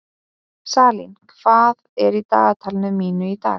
Salín, hvað er í dagatalinu mínu í dag?